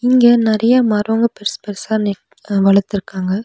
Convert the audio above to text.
இங்க நறைய மரங்கோ பெருசு பெருசா நீ வளத்துருக்காங்க.